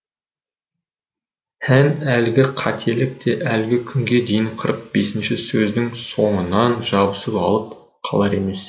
һәм әлгі қателік те әлі күнге дейін қырық бесінші сөздің соңынан жабысып алып қалар емес